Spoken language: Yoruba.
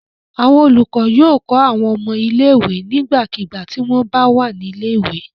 Àwọn olùkọ́ yóò kọ́ àwọn ọmọ ilé-ìwé nígbàkigbà tí wọ́n bà wà ní ilé-ìwé.